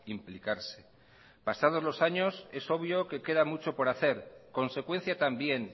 implicarse pasados los años es obvio que queda mucho por hacer consecuencia también